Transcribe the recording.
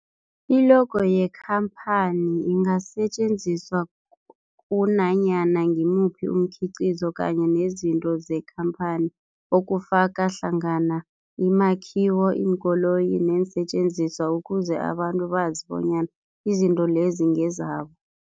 I-logo yekhamphani ingasetjenziswa kunanyana ngimuphi umkhiqizo kanye nezinto zekhamphani okufaka hlangana imakhiwo, iinkoloyi neensentjenziswa ukuze abantu bazi bonyana izinto lezo ngezabo.